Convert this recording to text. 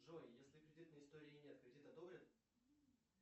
джой если кредитной истории нет кредит одобрят